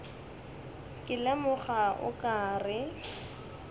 ke lemoga o ka re